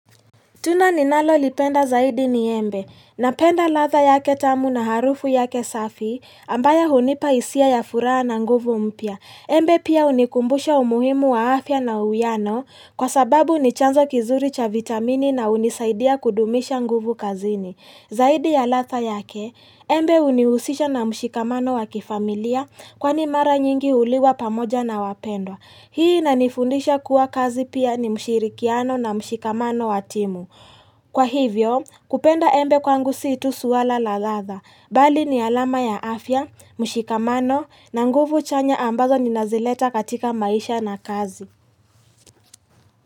Tunda ninalolipenda zaidi ni embe. Napenda ladha yake tamu na harufu yake safi ambayo hunipa hisia ya furaha na nguvu mpia. Embe pia hunikumbusha umuhimu wa afya na uwiano kwa sababu ni chanzo kizuri cha vitamini na hunisaidia kudumisha nguvu kazini. Zaidi ya ladha yake, embe unihusisha na mshikamano wa kifamilia kwani mara nyingi huliwa pamoja na wapendwa. Hii inanifundisha kuwa kazi pia ni mshirikiano na mshikamano wa timu. Kwa hivyo, kupenda embe kwangu si tu suala la ladha. Bali ni alama ya afya, mshikamano na nguvu chanya ambazo ninazileta katika maisha na kazi.